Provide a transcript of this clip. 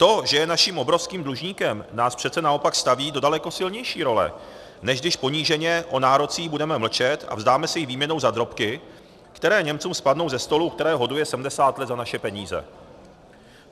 To, že je naším obrovským dlužníkem, nás přece naopak staví do daleko silnější role, než když poníženě o nárocích budeme mlčet a vzdáme se jich výměnou za drobky, které Němcům spadnou ze stolu, které hoduje 70 let za naše peníze.